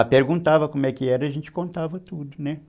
Ah, perguntava como é que era, a gente contava tudo, né?